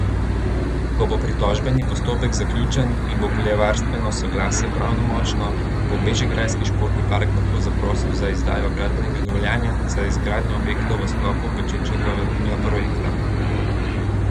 Ko bo pritožbeni postopek zaključen in bo okoljevarstveno soglasje pravnomočno, bo Bežigrajski športni park lahko zaprosil za izdajo gradbenega dovoljenja za izgradnjo objektov v sklopu Pečečnikovega projekta.